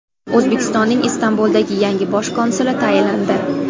O‘zbekistonning Istanbuldagi yangi bosh konsuli tayinlandi.